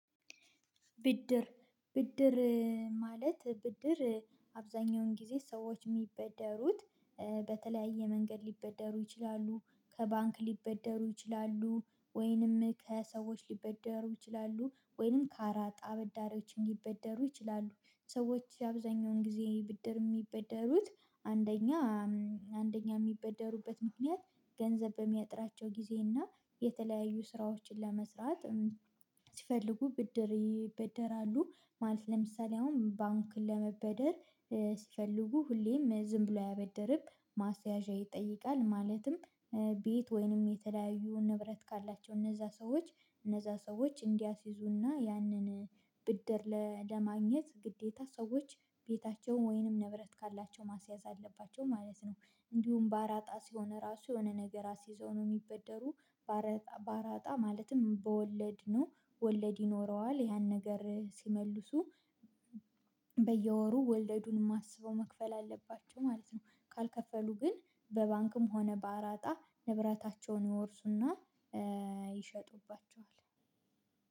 ብድር ብድር ማለት ብድር አብዛኛውን ጊዜ ሰዎች የሚበደሩት። በተለያየ መንገድ ሊበደሩ ይችላሉ ከባንክ ሊበደሩ ይችላሉ ወይንም ከሰዎች ሊበደሩ ይችላሉ። ወይንም ከአራጣ አበዳሪዎች ሊበደሩ ይችላሉ። ሰዎች አብዛኛውን ጊዜ ብድር የሚበደሩት። አንደኛ አንደኛ የሚበደሩበት ምክንያት ገንዘብ በሚያጥራቸው ጊዜ እና የተለያዩ ስራዎችን ለመስራት ሲፈልጉ ብድር ይበደራሉ። ማለት ለምሳሌ አሁን ባንክን ለመበደር ሲፈልጉ ሁሌም ዝም ብሎ አያበድርም ማስያዣ ይጠይቃል። ማለትም ቤት ወይንም የተለያዩ ንብረት ካላቸው እነዛ ሰዎች። እነዛ ሰዎች እንዲያስይዙ እና ያንን ብድር ለማግኘት ግዴታ ሰዎች ቤታቸውን ወይንም ንብረት ካላቸው ማስያዝ አለባቸው ማለት ነው። እንዲሁም በአራጣ ሲሆን እራሱ የሆነ ነገር አስይዘው ነው የሚበደሩ። በአራጣ ማለትም በወለድ ነው። ወለድ ይኖረዋል ያን ነገር ሲመልሱ በየወሩ ወለዱንም አስበው መክፈል አለባቸው ማለት ነው። ካልከፈሉ ግን በባንክም ሆነ በአራጣ ንብረታቸውን ይወርሱና ይሸጡባቸዋል።